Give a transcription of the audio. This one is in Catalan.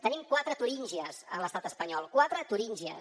tenim quatre turíngies a l’estat espanyol quatre turíngies